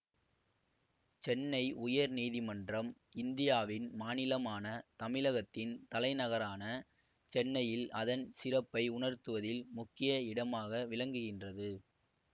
சென்னை உயர் நீதிமன்றம் இந்தியாவின் மாநிலமான தமிழகத்தின் தலைநகரான சென்னையில் அதன் சிறப்பை உணர்த்துவதில் முக்கிய இடமாக விளங்குகின்றது